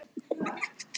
En meira um það síðar.